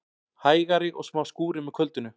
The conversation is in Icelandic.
Hægari og smá skúrir með kvöldinu